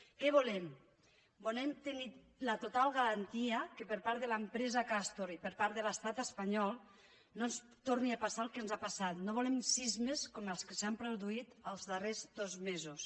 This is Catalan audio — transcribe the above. què volem volem tenir la total garantia que per part de l’empresa castor i per part de l’estat espanyol no torni a passar el que ens ha passat no volem sismes com els que s’han produït els darrers dos mesos